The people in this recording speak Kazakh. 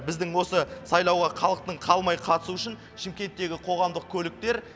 біздің осы сайлауға халықтың қалмай қатысуы үшін шымкенттегі қоғамдық көліктер